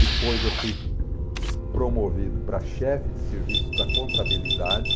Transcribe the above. Depois eu fui promovido para chefe de serviço da contabilidade.